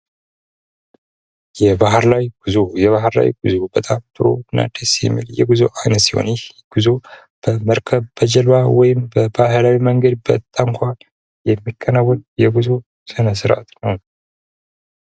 የባህር ላይ ጉዞ የባህር ላይ ጉዞ በጣም ጥሩና ደስ የሚል የጉዞ አይነት ሲሆን ይህ ጉዞ በመርከብ በጀልባ ወይም በባህላዊ መንገድ በታንኳ የሚከናወን የጉዞ ስነስርዓት ነው።